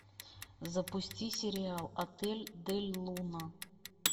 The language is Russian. запусти сериал отель дель луна